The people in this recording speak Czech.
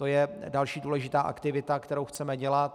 To je další důležitá aktivita, kterou chceme dělat.